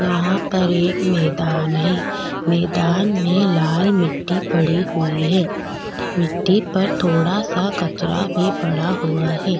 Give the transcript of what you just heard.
यहाँ पर एक मैदान हे मैदान मे लाल मिट्टी पड़ी हुए हे मिट्टी पर थोड़ा-सा कचरा पड़ा हुआ हे।